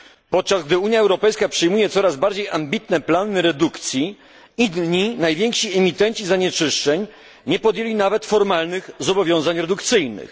Podczas gdy Unia Europejska przyjmuje coraz bardziej ambitne plany redukcji, inni najwięksi emitenci zanieczyszczeń nie podjęli nawet formalnych zobowiązań redukcyjnych.